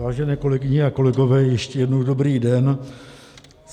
Vážené kolegyně a kolegové, ještě jednou dobrý den.